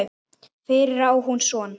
Fyrir á hún son.